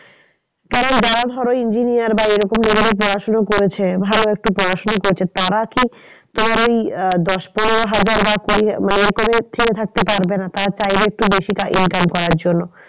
কারণ যারা ধরো engineer বা এরকম level এ পড়াশোনা করেছে ভালো একটু পড়শোনা করেছে তারা কি তোমার ওই দশ পনেরো হাজার বা কুড়ি মানে এরকমের থেমে থাকতে পারবে না। তারা চাইবে একটু বেশি income করার জন্য।